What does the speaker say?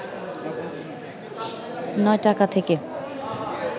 ৯ টাকা থেকে